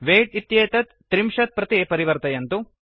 weight इत्येतत् ३० त्रिंशत् प्रति परिवर्तयन्तु